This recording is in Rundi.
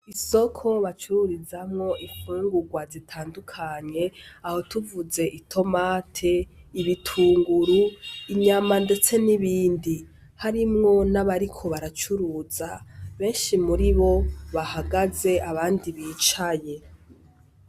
Isoko bacururizamwo ifungurwa zitandukanye aho tuvuze : itomati, ibitunguru, inyama ndetse n'ibindi ... Harimwo nabariko baracuruza benshi muri bo bahagaze abandi bicaye.